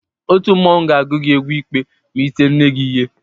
Òtù mmọnwụ ga-agụ gị egwu ikpe ma i tie nne gị ihe.